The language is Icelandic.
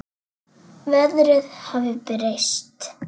Veðrið hafði breyst.